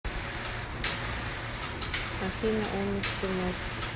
афина умут тимур